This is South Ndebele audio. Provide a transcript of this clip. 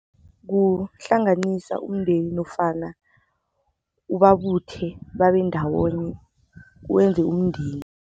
Kuhlanganisa umndeni nofana ubabuthe babe ndawonye wenze umndeni.